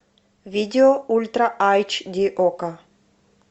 видео ультра айч ди окко